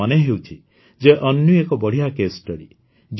ମୋର ମନେହେଉଛି ଯେ ଅନ୍ୱୀ ଏକ ବଢ଼ିଆ କେସ୍ ଷ୍ଟଡି